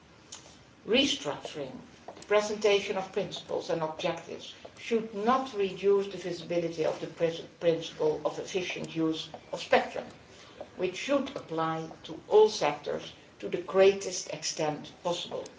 On restructuring, the presentation of principles and objectives should not reduce the visibility of the principle of efficient use of spectrum, which should apply to all sectors to the greatest extent possible.